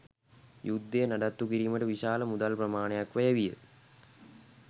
යුද්ධය නඩත්තුකිරීමට විශාල මුදල් ප්‍රමාණයක් වැය විය